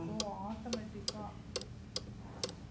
ஓ automatic ஆ